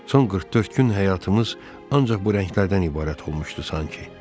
Son 44 gün həyatımız ancaq bu rənglərdən ibarət olmuşdu sanki.